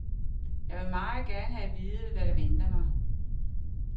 Jeg vil meget gerne have at vide, hvad der venter mig.